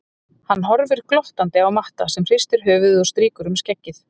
Hann horfir glottandi á Matta sem hristir höfuðið og strýkur um skeggið.